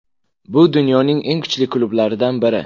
Bu dunyoning eng kuchli klublaridan biri.